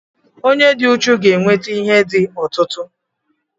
onye dị uchu ga-enweta ihe di ọtụtụ